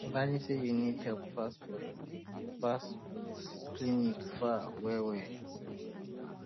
imagine say you need help fast but fast but clinic um far well well